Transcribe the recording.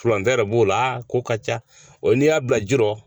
Furancɛ b'o la ko ka ca ɔ n'i y'a bila ji la